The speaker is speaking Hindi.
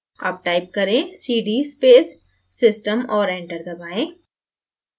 अब type करें: cd space system और enter दबाएँ